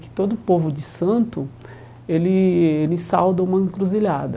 Que todo povo de santo, ele ele sauda uma encruzilhada.